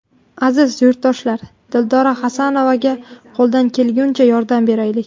Aziz yurtdoshlar, Dildora Xasanovaga qo‘ldan kelgunicha yordam beraylik!